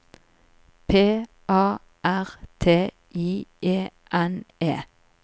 P A R T I E N E